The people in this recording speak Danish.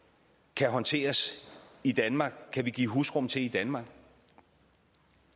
kan håndteres i danmark kan vi give husly til i danmark